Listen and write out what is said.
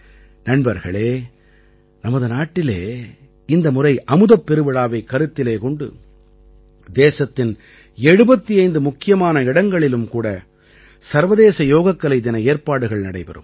நண்பர்களே நமது நாட்டிலே இந்த முறை அமுதப் பெருவிழாவைக் கருத்திலே கொண்டு தேசத்தின் 75 முக்கியமான இடங்களிலும் கூட சர்வதேச யோகக்கலை தின ஏற்பாடுகள் நடைபெறும்